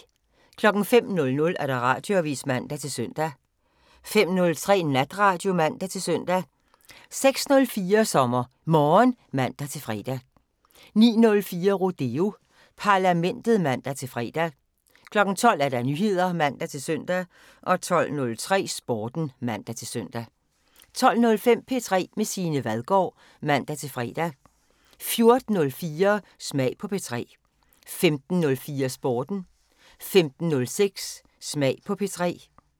05:00: Radioavisen (man-søn) 05:03: Natradio (man-søn) 06:04: SommerMorgen (man-fre) 09:04: Rodeo Parlamentet (man-fre) 12:00: Nyheder (man-søn) 12:03: Sporten (man-søn) 12:05: P3 med Signe Vadgaard (man-fre) 14:04: Smag på P3 15:04: Sporten 15:06: Smag på P3